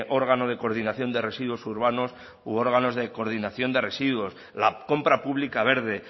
órgano de coordinación de residuos urbanos u órganos de coordinación de residuos la compra pública verde